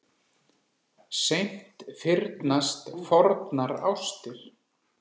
Seint fyrnast fornar ástir.